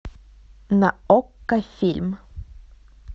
на окко фильм